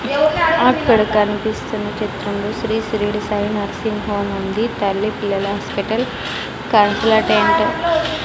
అక్కడ కనిపిస్తున్న చిత్రంలో శ్రీ షిరిడి సాయి నర్సింగ్ హోమ్ ఉంది తల్లి పిల్లల హాస్పిటల్ కాన్పుల అటెంటో --